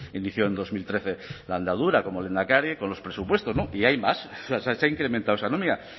inició en dos mil trece la andadura como lehendakari con los presupuestos y hay más o sea se ha incrementado esa nómina